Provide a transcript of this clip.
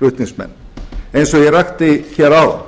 flutningsmenn eins og ég rakti hér áðan